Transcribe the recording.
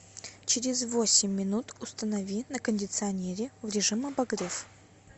через восемь минут установи на кондиционере в режим обогрев